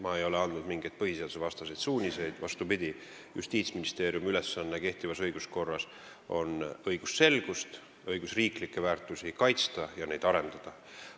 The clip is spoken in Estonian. Ma ei ole andnud mingeid põhiseadusvastaseid suuniseid, vastupidi, Justiitsministeeriumi ülesanne kehtivas õiguskorras on õigusselgust ja õigusriiklikke väärtusi kaitsta ning neid arendada.